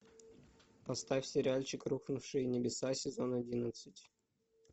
поставь сериальчик рухнувшие небеса сезон одиннадцать